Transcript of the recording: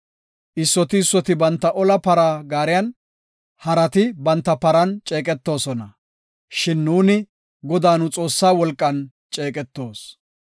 Issoti issoti banta ola para gaariyan, harati banta paran ceeqetoosona; shin nuuni Godaa nu Xoossaa wolqan ceeqetoos.